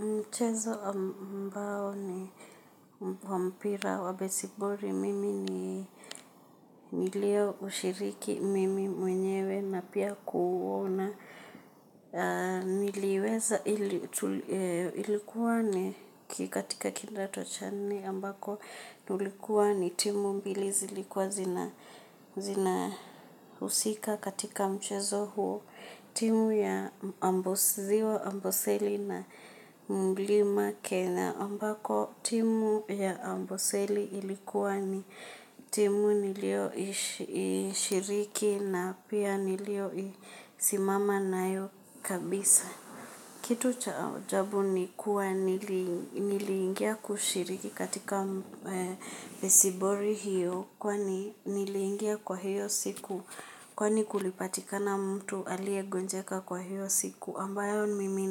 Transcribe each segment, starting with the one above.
Mchezo ambao ni wa mpira wa besiboli mimi ni nilioushiriki mimi mwenyewe na pia kuuona. Niliuweza, ilikua ni katika kindato cha nne ambako tulikua ni timu mbili zilikuwa zina husika katika mchezo huo, timu ya ziwa amboseli na mlima kenya ambako timu ya amboseli ilikuwa ni timu nilioishiriki na pia nilioisimama nayo kabisa. Kitu cha ajabu ni kuwa nili niliingia kushiriki katika besiboli hiyo kwani niliingia kwa hiyo siku kwani kulipatikana mtu aliyegonjeka kwa hiyo siku ambayo mimi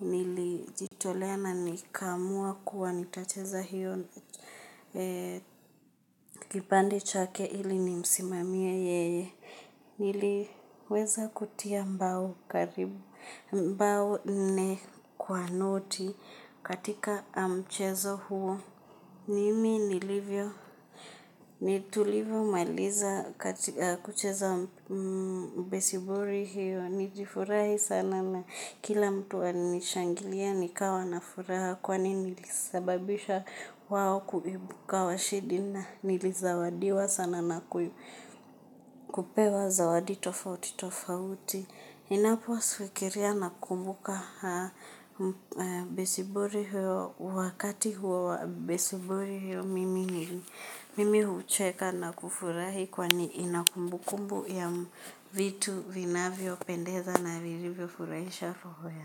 nilijitolea na nikaamua kuwa nitacheza hiyo kipande chake ili nimsimamie yeye niliweza kutia mbao nne kwa noti katika mchezo huo. Nimi nilivyo, tulivomaliza kucheza besiboli hiyo nilifurahi sana na kila mtu alinishangilia nikawa na furaha. Kwani nilisababisha wao kuibuka washindi na nilizawadiwa sana na kupewa zawadi tofauti tofauti. Ninapofikiria nakumbuka besiboli hiyo, wakati huo wa besiboli hiyo mimi hucheka na kufurahi kwani ina kumbukumbu ya vitu vinavyopendeza na vilivyofurahisha roho yangu.